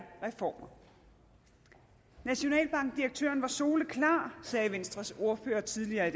reformer nationalbankdirektøren var soleklar sagde venstres ordfører tidligere i